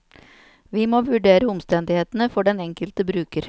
Vi må vurdere omstendighetene for den enkelte bruker.